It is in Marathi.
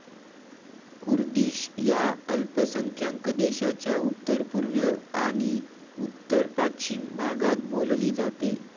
कुर्दिश या अल्पसंख्यांक देशाच्या उत्तरपुर्व आणि उत्तरपाश्चीम भागात बोलली जाते.